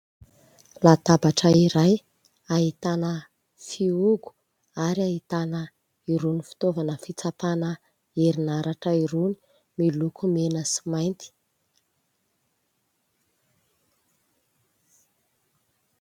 Latabatra iray ahitana fihogo ary ahitana irony fitaovana fitsapana herinaratra irony miloko mena sy mainty.